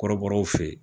Kɔrɔbɔrɔw fe yen